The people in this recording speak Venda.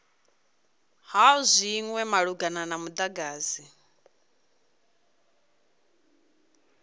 ha zwinwe malugana na mudagasi